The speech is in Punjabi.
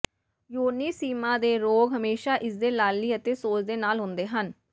ਯੋਨੀ ਸ਼ੀਮਾ ਦੇ ਰੋਗ ਹਮੇਸ਼ਾ ਇਸਦੇ ਲਾਲੀ ਅਤੇ ਸੋਜ ਦੇ ਨਾਲ ਹੁੰਦੇ ਹਨ